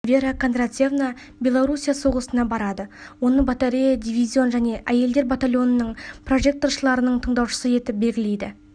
вера кондратьевна белоруссия соғысына барады оны батарея дивизион жеке әйелдер батальонының прожекторшыларының тыңдаушысы етіп белгілейді